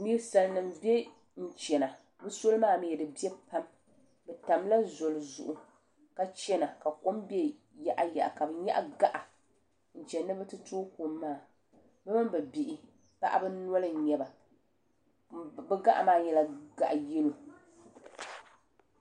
Ninsalinima m be n chena soli maa mew di biɛ pam di tamla zoli zuɣu ka chena ka kom be yaɣa yaɣa ka bɛ nyaɣi gaɣa n chena ni bɛ ti toogi kom maa bɛ mini bɛ bihi paɣaba noli n nyɛba bɛ gaɣa maa nyɛla yelo .